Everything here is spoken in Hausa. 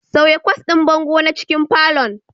Sauya kwas ɗin bango na cikin falon